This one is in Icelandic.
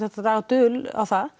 að draga dul á það